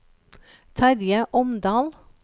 Terje Omdal